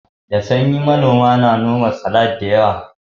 Da sanyi manoma na nome salad da yawa